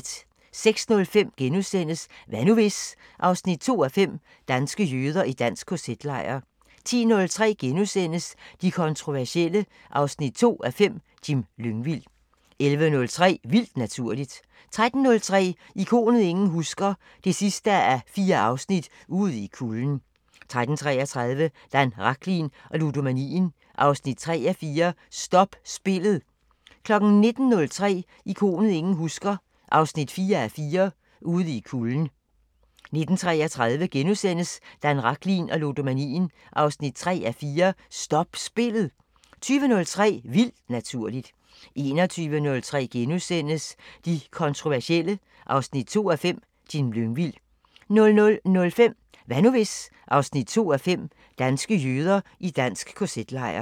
06:05: Hvad nu hvis...? 2:5 – Danske jøder i dansk KZ-lejr * 10:03: De kontroversielle 2:5 – Jim Lyngvild 11:03: Vildt Naturligt 13:03: Ikonet ingen husker – 4:4 Ude i kulden 13:33: Dan Rachlin og ludomanien 3:4 – Stop spillet 19:03: Ikonet ingen husker – 4:4 Ude i kulden 19:33: Dan Rachlin og ludomanien 3:4 – Stop spillet * 20:03: Vildt Naturligt 21:03: De kontroversielle 2:5 – Jim Lyngvild * 00:05: Hvad nu hvis...? 2:5 – Danske jøder i dansk KZ-lejr